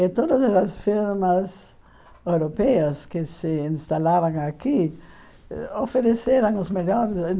E todas as firmas europeias que se instalavam aqui ofereceram os melhores.